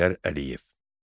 Heydər Əliyev.